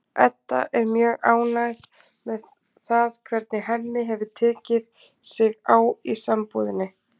Edda er mjög ánægð með það hvernig Hemmi hefur tekið sig á í sambúðinni.